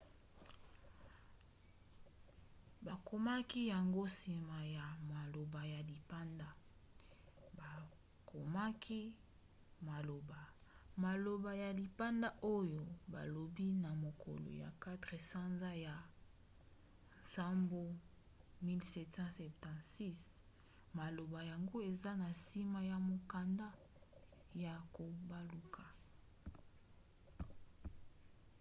bakomaki yango nsima ya maloba ya lipanda; bakomaki maloba maloba ya lipanga oyo balobi na mokolo ya 4 sanza ya nsambo 1776". maloba yango eza na nsima ya mokanda ya kobaluka